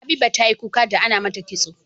Habiba tayi kuka da Ana mata kitso